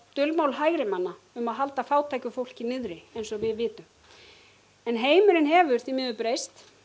dulmál hægrimanna um að halda fátæku fólki niðri en heimurinn hefur því miður breyst